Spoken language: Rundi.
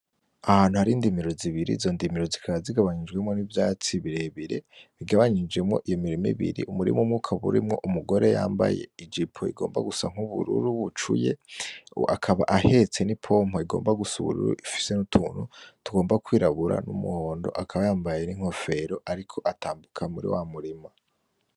Ahantu hari indimiro zibiri, izo ndimiro zikaba zigabanijemwo nivyatsi birebire bigabanijemwo iyo mirima ibiri, umurima umwe ukaba urimwo umugore yambaye ijipo ugomba gusa nubururu bucuye, akaba ahetse nipompe igomba gusa ubururu ifise nutuntu tugomba kwirabura numuhondo, akaba yambaye inkofero ariko atambuka muri wamurima.